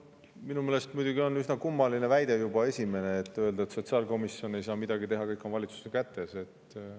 Minu meelest on muidugi üsna kummaline juba see väide, et sotsiaalkomisjon ei saa midagi teha, kõik on valitsuse kätes.